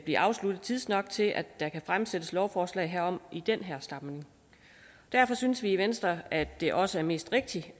blive afsluttet tidsnok til at der kan fremsættes lovforslag herom i den her samling derfor synes vi i venstre at det også er mest rigtigt at